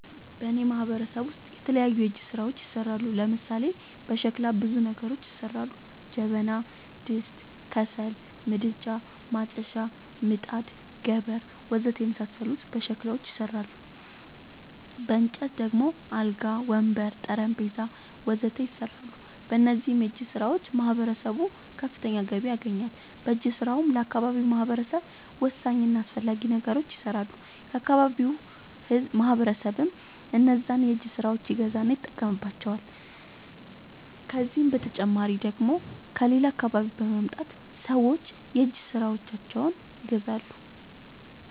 በእኔ ማህበረሰብ ውስጥ የተለያዩ የእጅ ስራዎች ይሠራሉ። ለምሳሌ፦ በሸክላ ብዙ ነገሮች ይሠራሉ። ጀበና፣ ድስት፣ ከሰል ምድጃ፣ ማጨሻ፣ ምጣድ፣ ገበር... ወዘተ የመሣሠሉት በሸክላ ይሠራሉ። በእንጨት ደግሞ አልጋ፣ ወንበር፣ ጠረንጴዛ..... ወዘተ ይሠራሉ። በእነዚህም የእጅስራዎች ማህበረሰቡ ከፍተኛ ገቢ ያገኛል። በእጅ ስራውም ለአካባቢው ማህበረሰብ ወሳኝ እና አስፈላጊ ነገሮች ይሠራሉ። የአካባቢው ማህበረሰብም እነዛን የእጅ ስራዎች ይገዛና ይጠቀምባቸዋል። ከዚህ በተጨማሪ ደግሞ ከሌላ አካባቢ በመምጣት ሠዎች የእጅ ስራዎቸችን ይገዛሉ።